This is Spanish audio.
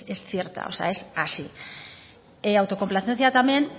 es cierta o sea es así autocomplacencia también